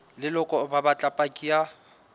leloko ba batla paki ya